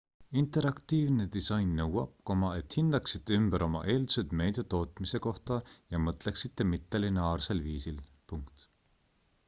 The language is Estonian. interaktiivne disain nõuab et hindaksite ümber oma eeldused meedia tootmise kohta ja mõtleksite mittelineaarsel viisil